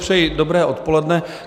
Přeji dobré odpoledne.